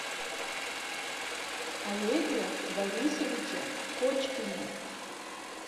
олеге борисовиче кочкине